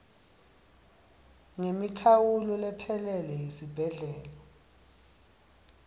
ngemikhawulo lephelele yesibhedlela